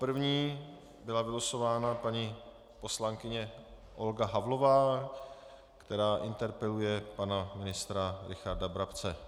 První byla vylosována paní poslankyně Olga Havlová, která interpeluje pana ministra Richarda Brabce.